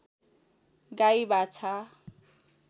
गाई बाछा